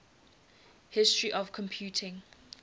history of computing